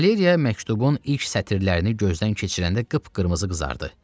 Valeriya məktubun ilk sətirlərini gözdən keçirəndə qıpqırmızı qızardı.